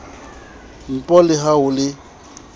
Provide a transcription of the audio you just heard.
npo le ha ho le